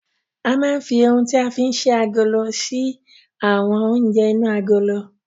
A máa ń fi oun tí a fí ń ṣí agolo ṣí àwọn oúnjẹ inú agolo.